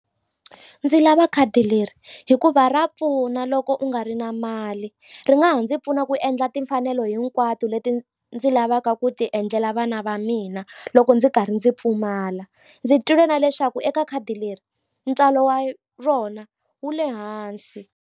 Ndzi lava khadi leri hikuva ra pfuna loko u nga ri na mali ri nga ha ndzi pfuna ku endla timfanelo hinkwato leti ndzi lavaka ku ti endlela vana va mina loko ndzi karhi ndzi pfumala ndzi twile na leswaku eka khadi leri ntswalo wa rona wu le hansi.